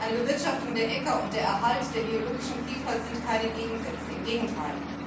Eine Bewirtschaftung der Äcker und der Erhalt der biologischen Vielfalt sind keine Gegensätze, im Gegenteil.